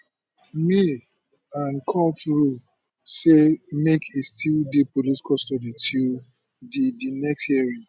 may and court rule say make e still dey police custody till di di next hearing